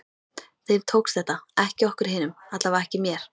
Þeim tókst þetta, ekki okkur hinum, allavega ekki mér.